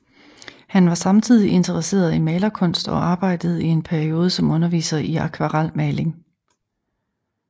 Han var samtidig interesseret i malerkunst og arbejdede i en periode som underviser i akvarelmaling